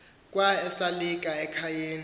kwa esalika ekhayeni